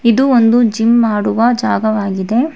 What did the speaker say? ಇದು ಒಂದು ಜಿಮ್ ಮಾಡುವ ಜಾಗವಾಗಿದೆ.